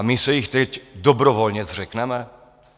A my se jich teď dobrovolně zřekneme?